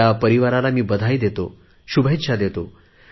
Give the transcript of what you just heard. त्या परिवाराला मी शुभेच्छा देतो